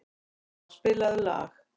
Gróa, spilaðu lag.